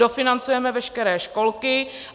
Dofinancujeme veškeré školky.